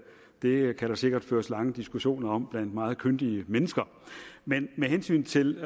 det kan der sikkert føres lange diskussioner om blandt meget kyndige mennesker men med hensyn til